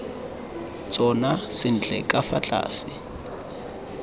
tsona sentle ka fa tlase